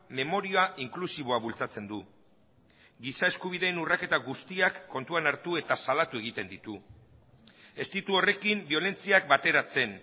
memoria inklusiboa bultzatzen du giza eskubideen urraketa guztiak kontuan hartu eta salatu egiten ditu ez ditu horrekin biolentziak bateratzen